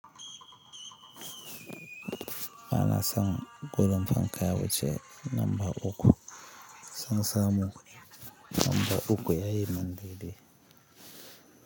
Bana san gudun fanka wuce namba uku, san samu namba uku yayi min daidai.